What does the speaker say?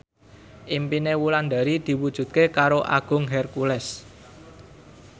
impine Wulandari diwujudke karo Agung Hercules